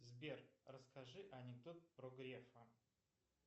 сбер расскажи анекдот про грефа